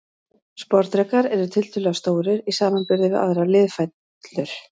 Sporðdrekar eru tiltölulega stórir í samanburði við aðrar liðfætlur.